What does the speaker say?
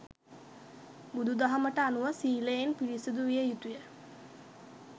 බුදු දහමට අනුව සීලයෙන් පිරිසුදු විය යුතු ය.